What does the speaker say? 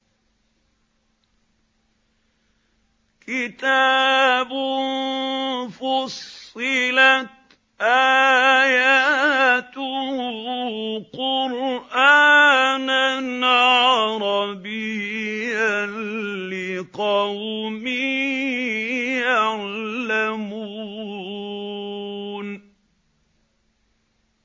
كِتَابٌ فُصِّلَتْ آيَاتُهُ قُرْآنًا عَرَبِيًّا لِّقَوْمٍ يَعْلَمُونَ